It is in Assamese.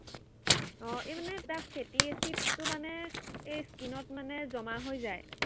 আহ এই মানে তাত ফেটী এচিডটো মানে এই skin ত মানে জমা হৈ যায়।